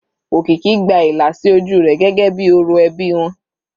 Okiki gba ìlà sí ojú rẹ̀ gẹ́gẹ́ bíi orò ẹbí wọn.